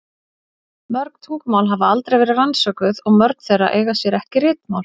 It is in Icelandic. Mörg tungumál hafa aldrei verið rannsökuð og mörg þeirra eiga sér ekki ritmál.